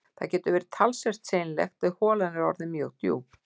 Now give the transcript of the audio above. Þetta getur verið talsvert seinlegt ef holan er orðin mjög djúp